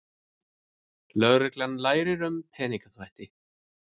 Lögreglan lærir um peningaþvætti